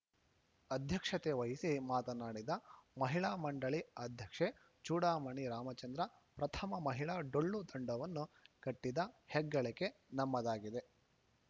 ಅಧ್ಯಕ್ಷತೆ ವಹಿಸಿ ಮಾತನಾಡಿದ ಮಹಿಳಾ ಮಂಡಳಿ ಅಧ್ಯಕ್ಷೆ ಚೂಡಾಮಣಿ ರಾಮಚಂದ್ರ ಪ್ರಥಮ ಮಹಿಳಾ ಡೊಳ್ಳು ತಂಡವನ್ನು ಕಟ್ಟಿದ ಹೆಗ್ಗಳಿಕೆ ನಮ್ಮದಾಗಿದೆ